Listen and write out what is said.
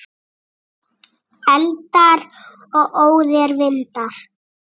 Eldar og óðir vindar